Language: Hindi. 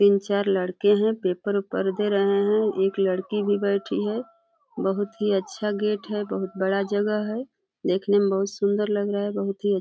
तीन-चार लड़के हैं। पेपर वेपर दे रहे हैं। एक लड़की भी बैठी है। बहोत ही अच्छा गेट है। बहोत बड़ा जगह है। देखने में बहोत ही सुन्दर लग रहा है। बहोत ही --